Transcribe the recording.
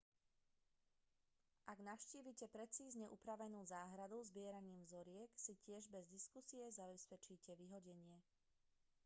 ak navštívite precízne upravenú záhradu zbieraním vzoriek si tiež bez diskusie zabezpečíte vyhodenie